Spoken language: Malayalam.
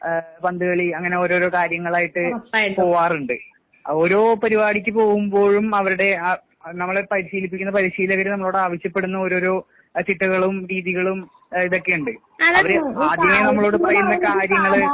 ഏഹ് പന്തുകളി അങ്ങനെ ഓരോരോ കാര്യങ്ങളായിട്ട് പോവാറുണ്ട് ഓരോ പരിപാടിക്ക് പോവുമ്പോഴും അവരുടെ ആ അത് നമ്മളെ പരിശീലിപ്പിക്കുന്ന പരിശീലകര് നമ്മളോട് ആവശ്യപ്പെടുന്ന ഓരോരോ ചിട്ടകളും, രീതികളും അഹ് ഇതൊക്കെ ഇണ്ട്. അവര് ആദ്യമേ നമ്മളോട് പറയുന്ന കാര്യങ്ങള്